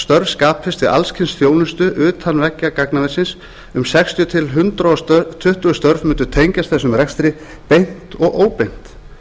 störf skapist við alls kyns þjónustu utan veggja gagnaversins um sextíu til hundrað tuttugu störf mundu tengjast þessum rekstri beint og óbeint